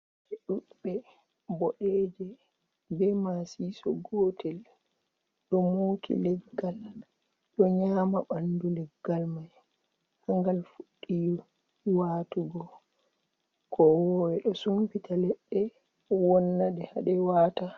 Ɓe ɗuɗbe boɗeeje bee maasiiso gootel ɗo muuki leggal, ɗo nyaama banndu leggal may, ha ngal fuɗɗi waatugo. Kowoowe ɗo sumpita leɗɗe wonna ɗe ha ɗe waata.